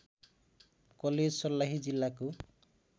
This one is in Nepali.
कलेज सर्लाही जिल्लाको